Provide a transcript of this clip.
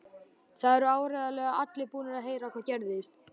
Það eru áreiðanlega allir búnir að heyra hvað gerðist.